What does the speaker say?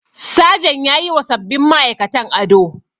Sajan yayiwa sabbin ma'aikatan ado.